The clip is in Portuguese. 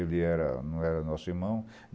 Ele era não era nosso irmão.